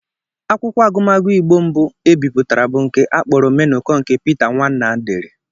Akwụkwọ agụmagụ Igbo mbụ e bipụtara bụ nke a kpọrọ Omenụkọ nke Pita Nwanna dere